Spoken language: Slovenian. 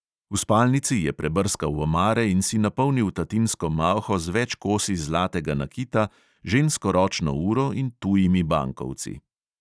V spalnici je prebrskal omare in si napolnil tatinsko malho z več kosi zlatega nakita, žensko ročno uro in tujimi bankovci.